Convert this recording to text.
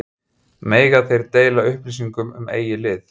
Mega þeir deila upplýsingum um eigið lið?